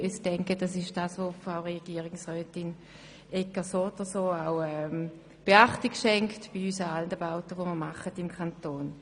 Ich denke jedoch, dass Frau Regierungsrätin Egger diesen Anliegen so oder so Beachtung schenkt.